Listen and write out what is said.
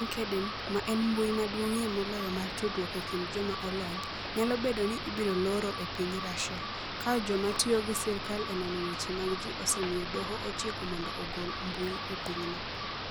LinkedIn, ma en mbui maduong'ie moloyo mar tudruok e kind joma olony, nyalo bedo ni ibiro loro e piny Russia, ka joma tiyo gi sirkal e nono weche mag ji osemiyo Doho ochiko mondo ogol mbui e pinyno.